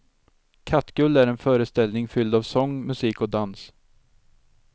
Kattguld är en föreställning fylld av sång, musik och dans.